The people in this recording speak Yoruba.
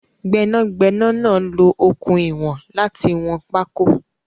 Gbénàgbénà náà lo okùn ìwọ̀n láti wọn pákó